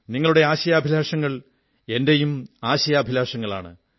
നിങ്ങളുടെ ആശയാഭിലാഷങ്ങൾ എന്റെയും ആശയാഭിലാഷങ്ങളാണ്